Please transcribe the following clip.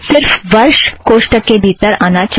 सिर्फ़ साल कोष्ठक के भीतर आना चाहिए